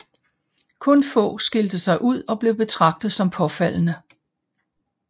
Kun få skilte sig ud og blev betragtet som påfaldende